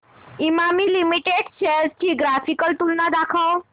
Emami limited shares ची graphical तुलना दाखव